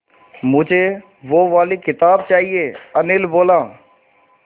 मुझे वो वाली किताब चाहिए अनिल बोला